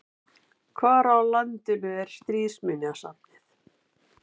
Hvar á landinu er Stríðsminjasafnið?